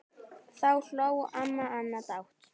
Þá hló amma Anna dátt.